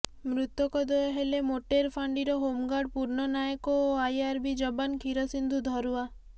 ମୃତକ ଦ୍ୱୟ ହେଲେ ମୋଟେର ଫାଣ୍ଡିର ହୋମଗାର୍ଡ ପୂର୍ଣ୍ଣ ନାୟକ ଓ ଆଇଆରବି ଯବାନ କ୍ଷୀରସିନ୍ଧୁ ଧରୁଆ